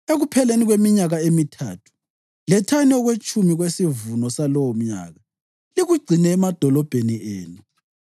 Ekupheleni kweminyaka emithathu, lethani okwetshumi kwesivuno salowomnyaka likugcine emadolobheni enu,